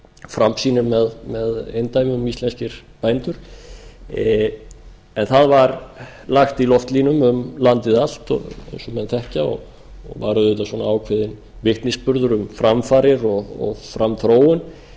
framsýnir með eindæmum íslenskir bændur en það var lagt í loftlínum um landið allt eins og menn þekkja og var auðvitað ákveðinn vitnisburður um framfarir og framþróun